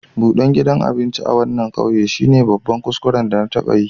Budan gidan abinci a wanan ƙauye shine babban kuskuren da na taba yi.